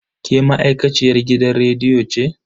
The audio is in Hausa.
Ke ma'aikaciyar gidan rediyo ce?